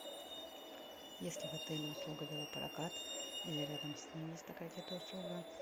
есть ли в отеле услуга велопрокат или рядом с ним есть такая где то услуга